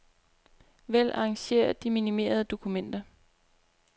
Vælg arrangér de minimerede dokumenter.